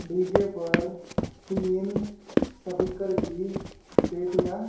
DJ पर तीन speaker की पेटियां--